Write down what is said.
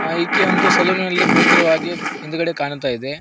ಅ ಇಕಿ ಒಂದು ಸಲೂನಿ ನಲ್ಲಿ ಕುಳಿತಿರುವ ಹಾಗೆ ಹಿಂದ್ಗಡೆ ಕಾಣ್ತಾ ಇದೆ.